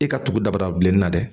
E ka tugu daba da bilennin na dɛ